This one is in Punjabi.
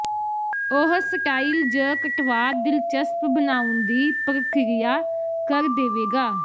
ਉਹ ਸਟਾਈਲ ਜ ਕਟਵਾ ਦਿਲਚਸਪ ਬਣਾਉਣ ਦੀ ਪ੍ਰਕਿਰਿਆ ਕਰ ਦੇਵੇਗਾ